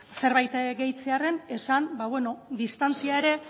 zerbait gehitzearren esan distantzia ere